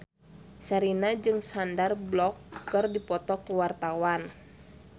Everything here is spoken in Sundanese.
Sherina jeung Sandar Bullock keur dipoto ku wartawan